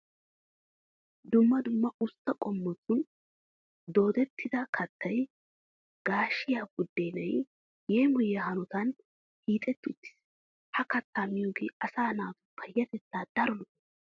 Dumma dumma usttaa qommotun doodettida kattay gaashiya buddeenan yeemoyiya hanotan hiixetti uttiis. Ha kattaa miyogee asaa naatu payyatettaw daro lo"o.